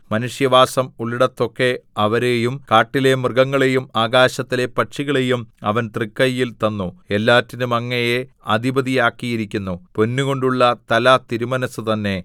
മനുഷ്യവാസം ഉള്ളിടത്തൊക്കെ അവരെയും കാട്ടിലെ മൃഗങ്ങളെയും ആകാശത്തിലെ പക്ഷികളെയും അവൻ തൃക്കൈയിൽ തന്നു എല്ലാറ്റിനും അങ്ങയെ അധിപതി ആക്കിയിരിക്കുന്നു പൊന്നുകൊണ്ടുള്ള തല തിരുമനസ്സു തന്നെ